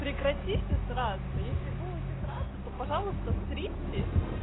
прекратите сраться если будете сраться то пожалуйста сритесь